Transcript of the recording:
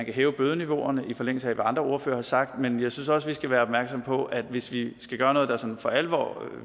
hæve bødeniveauerne og i forlængelse af hvad andre ordførere har sagt men jeg synes også vi skal være opmærksomme på at hvis vi skal gøre noget der sådan for alvor